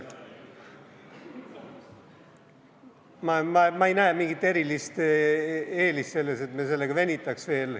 Ma ei näe mingit erilist eelist selles, et me veel venitaks.